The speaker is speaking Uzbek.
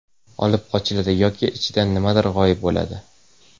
Olib qochiladi yoki ichidan nimadir g‘oyib bo‘ladi!.